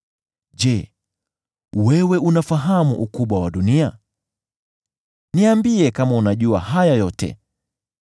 Je, wewe unafahamu ukubwa wa dunia? Niambie kama unajua haya yote.